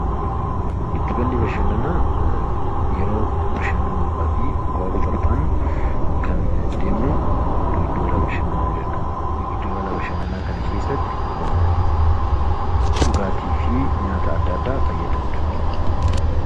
Giddugalli Bashannanaa yeroo bashannanuu dhaafi bihaaruu barbaadnu kan deemnu Giddugala Bashannanaa jennaan. Giddugala Bashannanaa kana keessatti dhugaatii fi nyaata adda addaa fayyadamuu dandeenya.